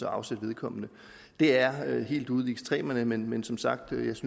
afsætte vedkommende det er helt ude i ekstremerne men men som sagt synes